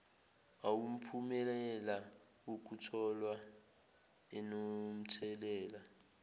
awumphumela wokutholwa anomthelela